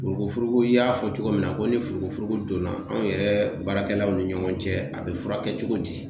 Furuku furuku, i y'a fɔ cogo min na ko ni furukufuruku don na anw yɛrɛ baarakɛlaw ni ɲɔgɔn cɛ, a be furakɛ cogo di?